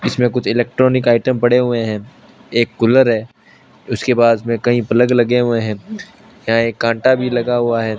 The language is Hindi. इसमें कुछ इलेक्ट्रॉनिक आइटम पड़े हुए हैं एक कूलर है उसके पास में कहीं पलक लगे हुए हैं यहां एक कांटा भी लगा हुआ है।